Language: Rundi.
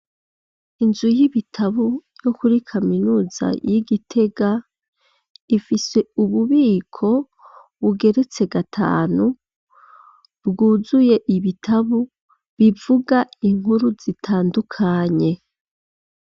Inzu y'ibitabu, yo kuri kaminuza y'i Gitega, ifise ububiko, bugeretse gatanu, bwuzuye ibitabu, bivuga inkuru zitandukanye.